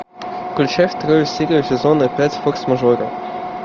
включай вторую серию сезона пять форс мажоры